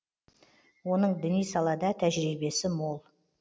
оның діни салада тәжірибесі мол